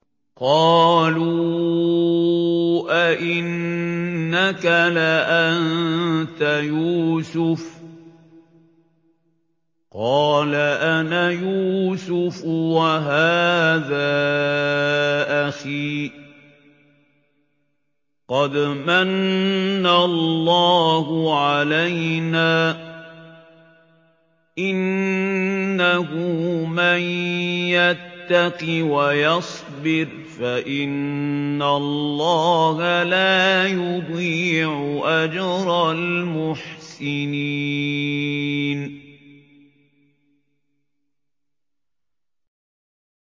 قَالُوا أَإِنَّكَ لَأَنتَ يُوسُفُ ۖ قَالَ أَنَا يُوسُفُ وَهَٰذَا أَخِي ۖ قَدْ مَنَّ اللَّهُ عَلَيْنَا ۖ إِنَّهُ مَن يَتَّقِ وَيَصْبِرْ فَإِنَّ اللَّهَ لَا يُضِيعُ أَجْرَ الْمُحْسِنِينَ